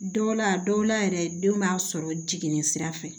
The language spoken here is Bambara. Dɔw la a dɔw la yɛrɛ den b'a sɔrɔ jiginni sira fɛ